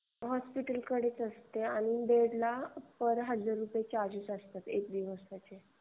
हॉस्पिटलकडेच असते आणि बेडला पर बेड हजार रुपयेआहे. प्रत्येक दिवसाला.